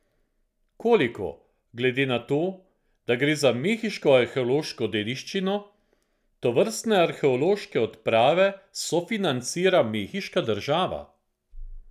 Koliko, glede na to, da gre za mehiško arheološko dediščino, tovrstne arheološke odprave sofinancira mehiška država?